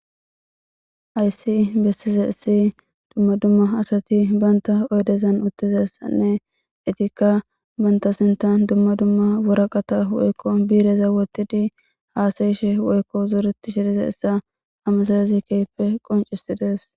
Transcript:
Haysii bessiza issi dumma dumma asati banta oydezan uttizassanne etikka banta sinta dumma dumma woraqata woykko biireza wotidi haasayishe woykko zoreti shidiza essa amasayazi keyppe qoncisides.